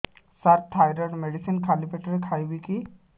ସାର thyroid medicine ଖାଲି ପେଟରେ ଖାଇବି କି